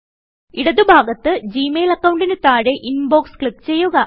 ഇടത് ഭാഗത്ത് Gmail അക്കൌണ്ടിന് താഴെ ഇൻബോക്സ് ക്ലിക്ക് ചെയ്യുക